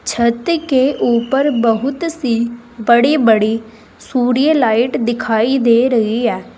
छत के ऊपर बहुत सी बड़ी बड़ी सूर्य लाइट दिखाई दे रही है।